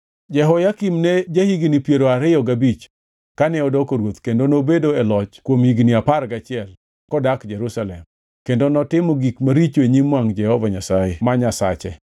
Jehoyakim ne ja-higni piero ariyo gabich kane odoko ruoth kendo nobedo e loch kuom higni apar gachiel kodak Jerusalem. Kendo notimo gik maricho e nyim wangʼ Jehova Nyasaye ma Nyasache.